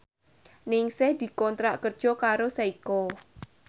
Ningsih dikontrak kerja karo Seiko